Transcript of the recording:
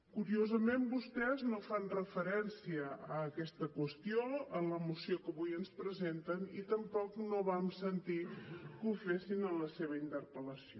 curiosament vostès no fan referència a aquesta qüestió en la moció que avui ens presenten i tampoc no vam sentir que ho fessin en la seva interpel·lació